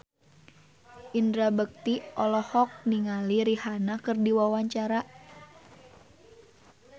Indra Bekti olohok ningali Rihanna keur diwawancara